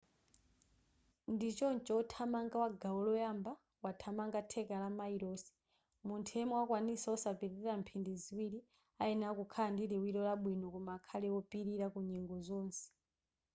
ndichoncho wothamanga wa gawo loyamba wothamanga theka la mayilosi munthu yemwe amakwanitsa osapitilira mphindi ziwiri ayenera kukhala ndi liwiro labwino koma akhale wopilira kunyengo zonse